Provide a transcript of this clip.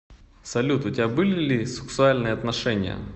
салют у тебя были ли сексуальные отношения